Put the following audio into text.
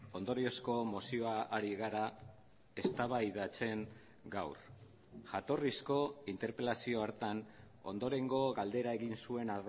ondoriozko mozioa ari gara eztabaidatzen gaur jatorrizko interpelazio hartan ondorengo galdera egin zuen